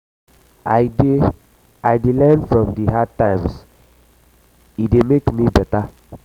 i dey i dey learn from di hard times e dey make me beta.